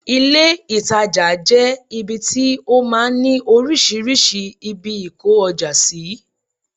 ilé ìtajà jẹ ibi tí ó máa ń ni oríṣiríṣi ibi ìkó ọjà sí